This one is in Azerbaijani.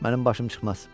Mənim başım çıxmaz.